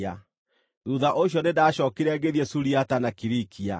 Thuutha ũcio nĩndacookire ngĩthiĩ Suriata na Kilikia.